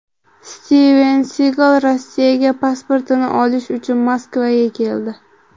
Stiven Sigal Rossiya pasportini olish uchun Moskvaga keldi.